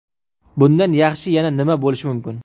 Bundan yaxshi yana nima bo‘lishi mumkin?